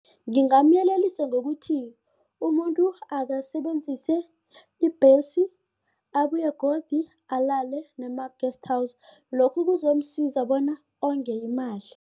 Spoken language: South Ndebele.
Ngingamyelelisa ngokuthi umuntu akasebenzise ibhesi abuye godu alale nema-guest house lokho kuzomsiza bona onge imali.